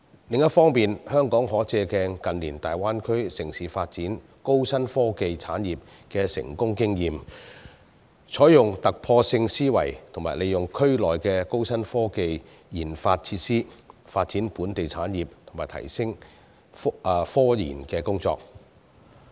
另一方面，香港可借鏡近年大灣區城市發展高新科技產業的成功經驗，採用突破性思維和利用區內的高新科技研發設施，發展本地產業和提升科研工作。